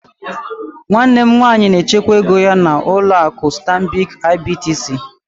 Nwanne m nwanyị na-echekwa ego ya na ụlọ akụ stanbịkị IBTC.